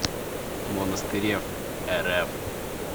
монастыреврф